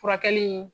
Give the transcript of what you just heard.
Furakɛli in